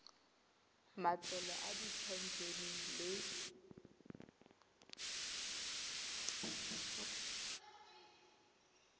matlolo a diphen ene le